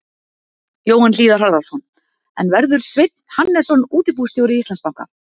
Jóhann Hlíðar Harðarson: En verður Sveinn Hannesson útibússtjóri Íslandsbanka?